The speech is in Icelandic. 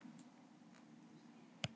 Verður að vera frískleg.